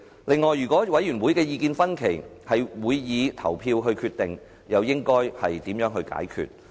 此外，如果委員會的意見分歧，將會以投票決定，這問題又應該如何解決？